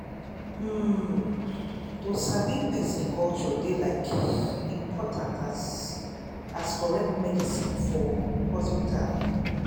ummm to sabi person culture dey like important as as correct medicine for hospital.